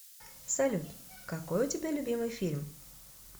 салют какой у тебя любимый фильм